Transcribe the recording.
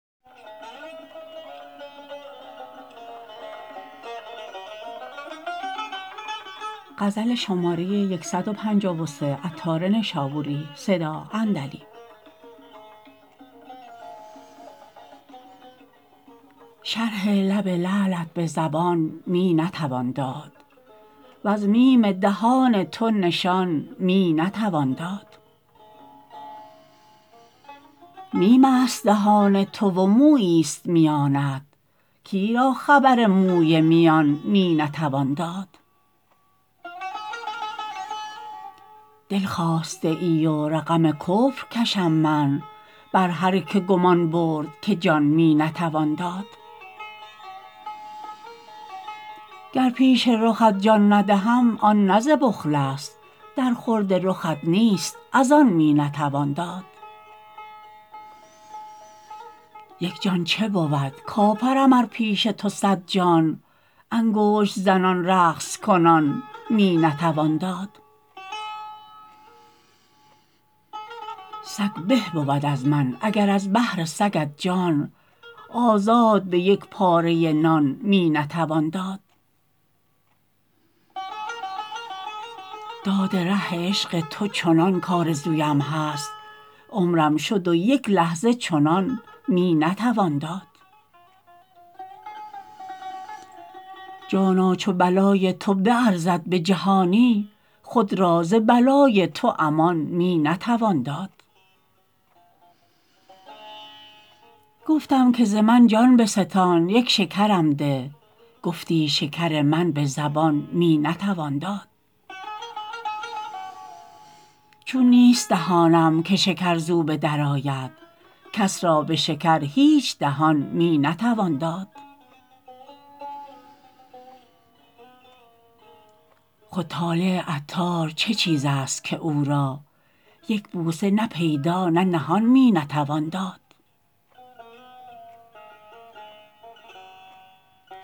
شرح لب لعلت به زبان می نتوان داد وز میم دهان تو نشان می نتوان داد میم است دهان تو و مویی است میانت کی را خبر موی میان می نتوان داد دل خواسته ای و رقم کفر کشم من بر هر که گمان برد که جان می نتوان داد گر پیش رخت جان ندهم آن نه ز بخل است در خورد رخت نیست از آن می نتوان داد یک جان چه بود کافرم ار پیش تو صد جان انگشت زنان رقص کنان می نتوان داد سگ به بود از من اگر از بهر سگت جان آزاد به یک پاره نان می نتوان داد داد ره عشق تو چنان کآرزویم هست عمرم شد و یک لحظه چنان می نتوان داد جانا چو بلای تو بیارزد به جهانی خود را ز بلای تو امان می نتوان داد گفتم که ز من جان بستان یک شکرم ده گفتی شکر من به زبان می نتوان داد چون نیست دهانم که شکر زو به در آید کس را به شکر هیچ دهان می نتوان داد خود طالع عطار چه چیز است که او را یک بوسه نه پیدا نه نهان می نتوان داد